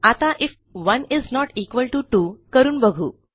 आता IF 1 is not equal TO 2 करून बघू